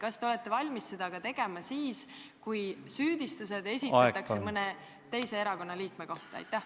Kas te olete valmis seda tegema ka siis, kui süüdistused esitatakse mõne teise erakonna liikme vastu?